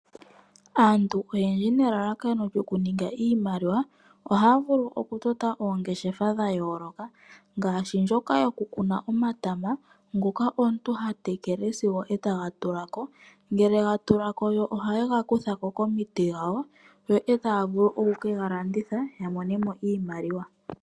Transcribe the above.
Aantu oyendji nelalakano lyoku ninga iimaliwa. Ohaya vulu oku tota oongeshefa dha yooloka, ngashi ndjoka yoku kuna omatama, ngoka omuntu ha tekele sigo taga tulako, ngele ga tulako oha yega kuthako komiti dhawo, yo taya vulu oku kega landitha, ya monemo iimaliwa.